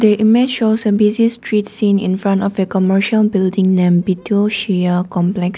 a image shows a busy street seen in front of a commercial building name beituo shuya complex.